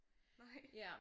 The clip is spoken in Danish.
Nej